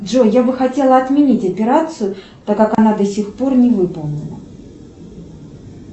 джой я бы хотела отменить операцию так как она до сих пор не выполнена